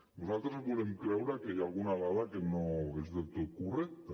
nosaltres volem creure que hi ha alguna dada que no és del tot correcta